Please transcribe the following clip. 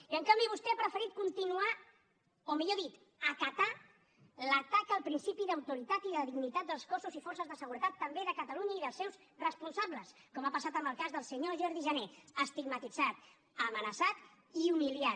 i en canvi vostè ha preferit continuar o millor dit acatar l’atac al principi d’autoritat i de dignitat dels cossos i forces de seguretat també de catalunya i dels seus responsables com ha passat amb el cas del senyor jordi jané estigmatitzat amenaçat i humiliat